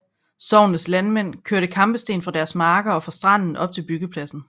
Sognets landmænd kørte kampesten fra deres marker og fra stranden op til byggepladsen